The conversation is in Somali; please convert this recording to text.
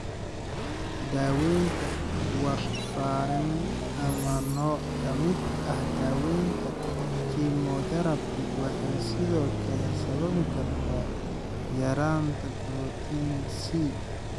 Daawaynta warfarin ama nooc ka mid ah daaweynta kemotherabi waxay sidoo kale sababi kartaa yaraanta borotiinka C.